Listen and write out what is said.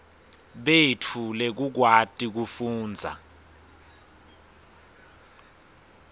betfu lekukwati kufundza